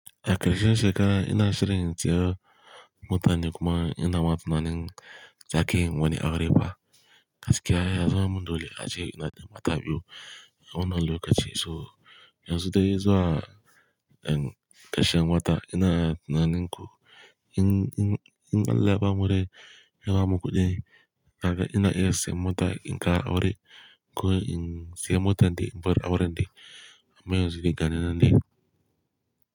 A karshen shekera ina shirin siya mota ne kuma ina ma tunanin zake yin wani aure fa. Gaskya ya zaman mun dole ace ina da mata biyu. A wannan lokaci so Yanzu dai zuwa in karshen wata ina tunanin ku in, in, in allah ya ba mu rai ya bamu kuɗi. Ka gan ina iya siyan mota in kara aure ko in siya mota din bar aure din. Me yanzu dai ganinan dai?